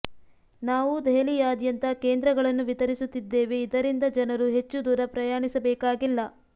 ನಾವು ದೆಹಲಿಯಾದ್ಯಂತ ಕೇಂದ್ರಗಳನ್ನು ವಿತರಿಸುತ್ತಿದ್ದೇವೆ ಇದರಿಂದ ಜನರು ಹೆಚ್ಚು ದೂರ ಪ್ರಯಾಣಿಸಬೇಕಾಗಿಲ್ಲ